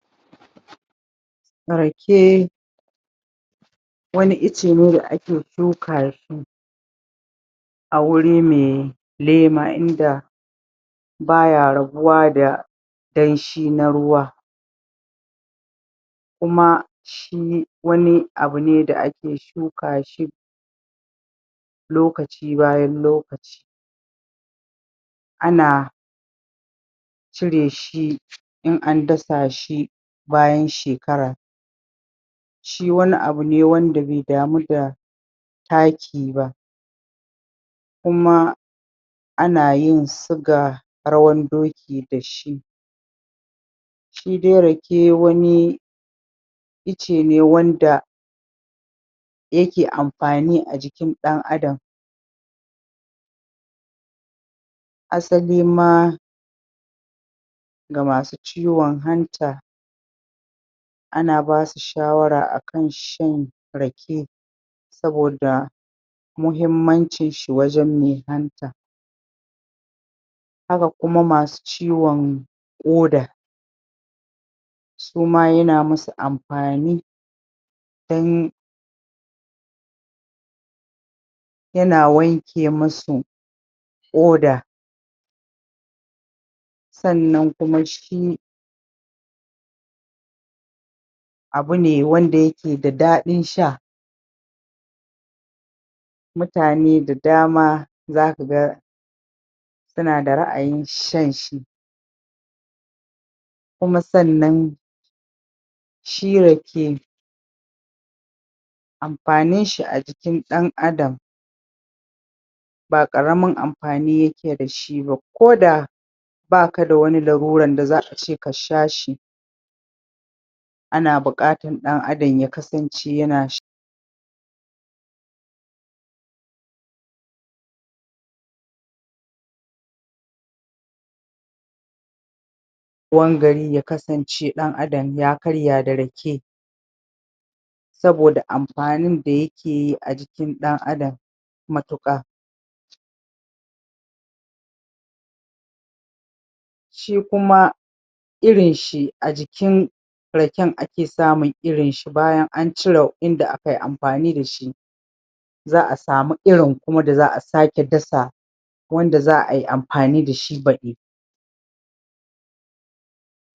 Rakeee Wani itce ne da ake Shuka shi A wuri mai Lema inda Baya rabuwa da Danshi na ruwa Kuma Shi.. Wani Abune da ake shuka shi Lokaci bayan lokaci Ana Cire shi In an dasa shi Bayan shekara Shi wani abune wanda bai damu da Taki bah Kuma Ana yin siga Rawan doki Dashi Shidai rake wani Itce ne wanda Yake amfani a jikin ɗan adam Asali maa, Ga masu ciwon hanta Ana basu shawara akan shan Rake Saboda Mahimmancin shi wajen mai hanta Haka kuma masu ciwon ƙoda Suman yana masu amfani Dan, Yana wanke masu ƙoda Sannan kuma shi, Abu ne wanda yake da dadin sha Mutane da dama Zaka ga Suna da ra'ayin shanshi Kuma sannan Shi rake, Ampanin shi a jikin dan adam Ba karamin amfani yake dash bah, Koda Baka da wani laluran da za'a ce kashashi Ana bukatar dan adam ya kasance yana shan ya kasance dan adam ya karya da rake Saboda ampanin da yake a jikin dan adam Matuƙa Shi kuma Irin shi a jikin, Raken ake samun irin shi bayan an, an cire inda akai ampani dashi Za'a samu irin kuma da za'a sake dasa Wanda za'ai amfani dashi baɗi